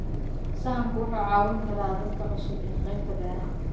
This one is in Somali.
Sahanku wuxuu caawin karaa dadka cusub ee qaybta beeraha.